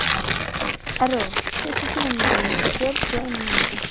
Erró, stilltu tímamælinn á fjörutíu og eina mínútur.